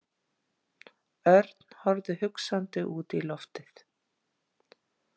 Örn horfði hugsandi út í loftið.